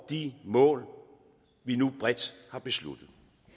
de mål vi nu bredt har besluttet